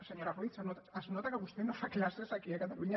senyora ruiz es nota que vostè no fa classes aquí a catalunya